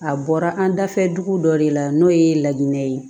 A bɔra an dafɛ dugu dɔ de la n'o ye lakinɛ ye